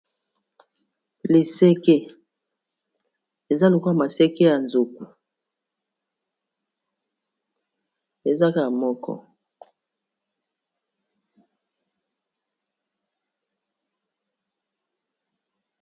Leseke eza lokwa a maseke ya zoku ezaka moko